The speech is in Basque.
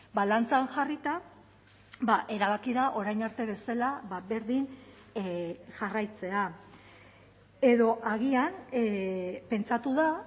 balantzan jarrita erabaki da orain arte bezala berdin jarraitzea edo agian pentsatu da